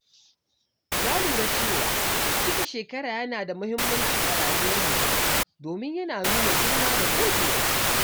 Na lura cewa cika shekara yana da muhimmanci a rayuwar mutum domin yana nuna girma da gogewa.